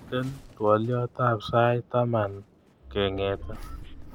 Miten twoliotap sait taman kengete